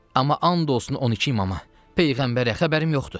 Amma and olsun 12 imama, peyğəmbərə, xəbərim yoxdur.